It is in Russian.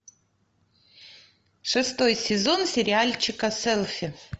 шестой сезон сериальчика селфи